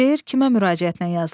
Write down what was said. Şeir kimə müraciətlə yazılıb?